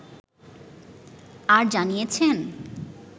আর জানিয়েছেন